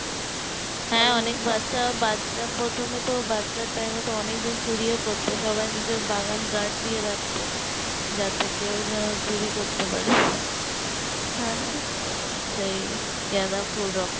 হ্যাঁ অনেক বাচ্চা বাচ্চা প্রথমে তো বাচ্চার time এ তো অনেক জন চুরিও করতো সবাই নিজের বাগান gaurd দিয়ে রাখতো যাতে কেউ যেন চুরি করতে পারে সেই গাঁদাফুল